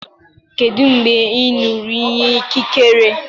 Kedu mgbe ị ṅụrụ iyi ikikere?